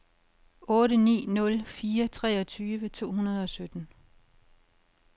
otte ni nul fire treogtyve to hundrede og sytten